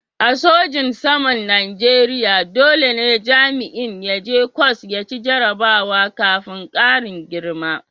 A sojin saman Najeriya dole ne jami'in ya je ƙwas ya ci jarrabawa kafin karin girma.